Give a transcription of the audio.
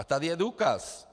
A tady je důkaz.